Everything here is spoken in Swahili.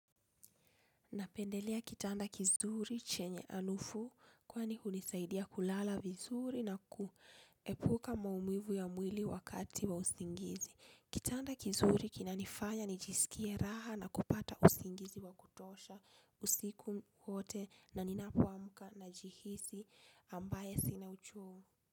Napendelea kitanda kizuri chenye harufu kwani hunisaidia kulala vizuri na kuepuka maumivu ya mwili wakati wa usingizi. Kitanda kizuri kina nifanya nijisikie raha na kupata usingizi wa kutosha usiku wote na ninapoamka na jihisi ambaye sina uchovu.